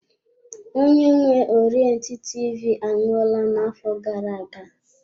Onye nwe Orient TV anwụọla na-afọ gara-aga.